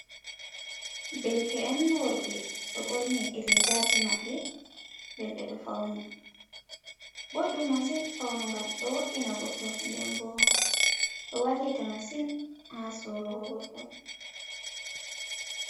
Derke’en worɓe ɓeɗo ɓorni rigaji maɓɓe nden ɓeɗo fauni, ɓoɗɗum masin faunugal ɗo woɗɗina goɗɗo nden bo ɗo wallita massin ha surugo goɗɗo.